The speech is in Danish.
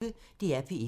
DR P1